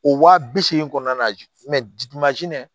O waa bi seegin kɔnɔna na